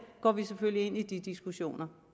går vi selvfølgelig ind i diskussionerne